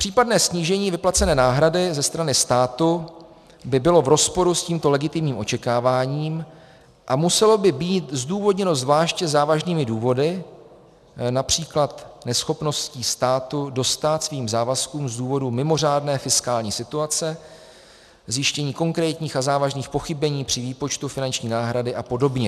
Případné snížení vyplacené náhrady ze strany státu by bylo v rozporu s tímto legitimním očekáváním a muselo by být zdůvodněno zvláště závažnými důvody, například neschopností státu dostát svým závazkům z důvodu mimořádné fiskální situace, zjištění konkrétních a závažných pochybení při výpočtu finanční náhrady a podobně.